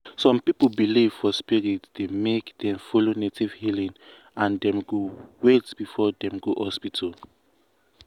some people belief for spirit dey make dem follow native healing and dem go wait before dem go hospital.